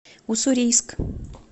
уссурийск